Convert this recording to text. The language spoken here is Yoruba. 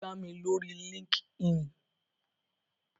Wón gbà mí lórii líńki-inì